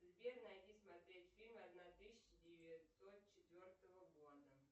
сбер найди смотреть фильм одна тысяча девятьсот четвертого года